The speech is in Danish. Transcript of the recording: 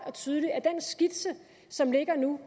og tydeligt at den skitse som ligger nu